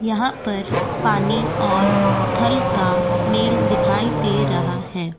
यहाँ पर पानी और फल का मेल दिखाई दे रहा है।